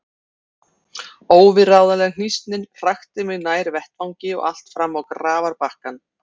Óviðráðanleg hnýsnin hrakti mig nær vettvangi og allt fram á grafarbakkann.